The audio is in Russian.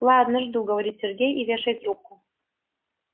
ладно жду говорит сергей и вешает трубку